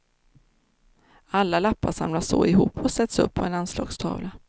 Alla lappar samlas så ihop och sätts upp på en anslagstavla.